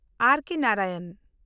ᱟᱨ. K. Narayan